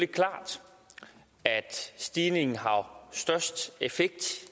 klart at stigningen har størst effekt